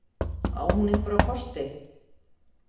Á hún einhverja kosti?